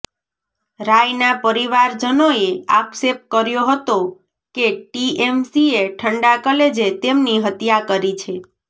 રાયના પરિવારજનોએ આક્ષેપ કર્યો હતો કે ટીએમસીએ ઠંડા કલેજે તેમની હત્યા કરી છે